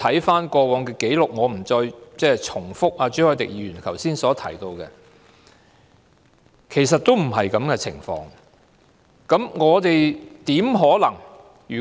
翻看過往的紀錄——我不再重複朱凱廸議員剛才的說話——其實情況並非如此。